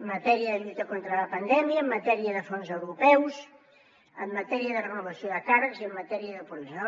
en matèria de lluita contra la pandèmia en matèria de fons europeus en matèria de renovació de càrrecs i en matèria de progrés